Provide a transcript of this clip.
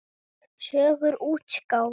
Sögur útgáfa.